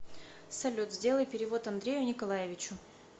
салют сделай перевод андрею николаевичу